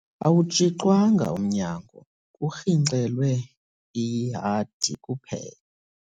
Awutshixwanga umnyangokurhintyelwe ihadi kuphela.